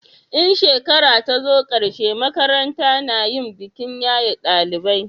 in shekara ta zo karshe makaranta na yin bikin yaye dalibai